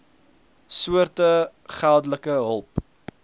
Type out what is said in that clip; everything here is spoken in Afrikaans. soorte geldelike hulp